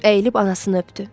Əyilib anasını öpdü.